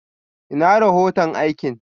Ina rohoto aikin?